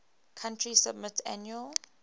country submit annual